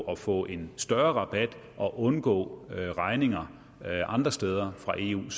at få en større rabat og undgå regninger andre steder fra eu